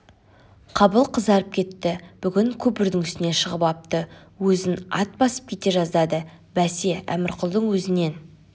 қабыл қызарып кетті бүгін көпірдің үстіне шығып апты өзін ат басып кете жаздады бәсе әмірқұлдың өзінен